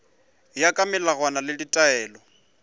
ya ka melawana le ditaelo